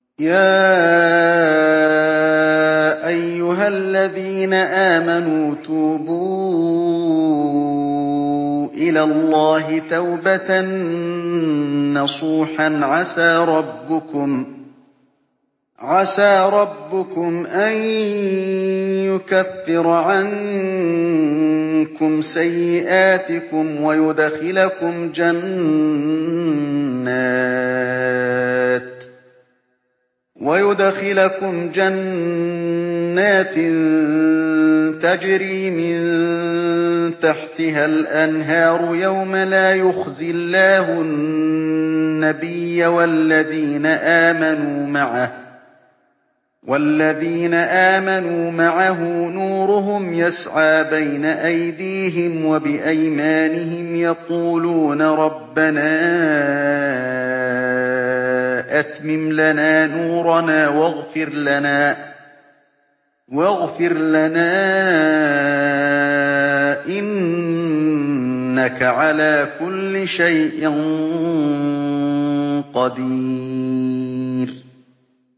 يَا أَيُّهَا الَّذِينَ آمَنُوا تُوبُوا إِلَى اللَّهِ تَوْبَةً نَّصُوحًا عَسَىٰ رَبُّكُمْ أَن يُكَفِّرَ عَنكُمْ سَيِّئَاتِكُمْ وَيُدْخِلَكُمْ جَنَّاتٍ تَجْرِي مِن تَحْتِهَا الْأَنْهَارُ يَوْمَ لَا يُخْزِي اللَّهُ النَّبِيَّ وَالَّذِينَ آمَنُوا مَعَهُ ۖ نُورُهُمْ يَسْعَىٰ بَيْنَ أَيْدِيهِمْ وَبِأَيْمَانِهِمْ يَقُولُونَ رَبَّنَا أَتْمِمْ لَنَا نُورَنَا وَاغْفِرْ لَنَا ۖ إِنَّكَ عَلَىٰ كُلِّ شَيْءٍ قَدِيرٌ